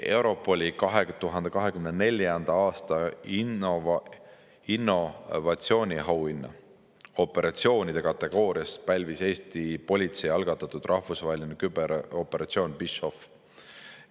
Europoli 2024. aasta innovatsiooniauhinna operatsioonide kategoorias pälvis Eesti politsei algatatud rahvusvaheline küberoperatsioon PhishOff.